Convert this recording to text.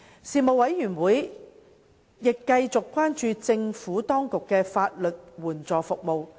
事務委員會亦繼續關注政府當局的法律援助服務。